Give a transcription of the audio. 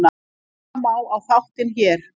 Horfa má á þáttinn hér